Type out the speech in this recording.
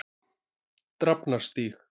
Drafnarstíg